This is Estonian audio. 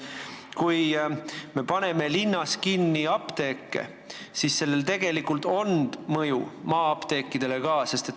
Kui me paneme linnas apteeke kinni, siis on sellel tegelikult mõju ka maa-apteekidele.